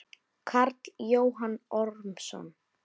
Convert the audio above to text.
Karl Jóhann Ormsson